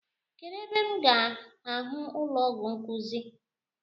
Kedụ ebe m ga ahụ ụlọọgwụ nkuzi?